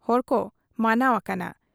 ᱦᱚᱲᱠᱚ ᱢᱟᱱᱟᱣ ᱟᱠᱟᱱᱟ ᱾